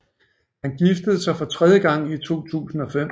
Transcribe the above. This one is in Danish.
Han giftede sig for tredje gang i 2005